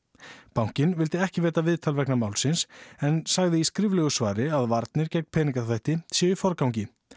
bankinn vildi ekki veita viðtal vegna málsins en segir í skriflegu svari að varnir gegn peningaþvætti séu í forgangi